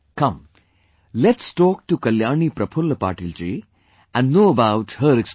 Come let's talk to Kalyani Prafulla Patil ji and know about her experience